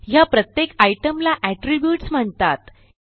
ह्या प्रत्येक आयटीईएम ला एट्रिब्यूट्स म्हणतात